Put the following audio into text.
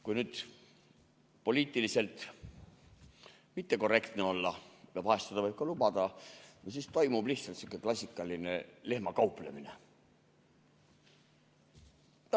Kui nüüd poliitiliselt mittekorrektne olla – ja vahel võib seda ka lubada –, siis toimub lihtsalt selline klassikaline lehmakauplemine.